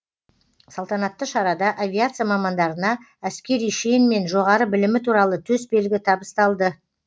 салтанатты шарада авиация мамандарына әскери шен мен жоғары білімі туралы төсбелгі табысталды